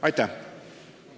Aitäh!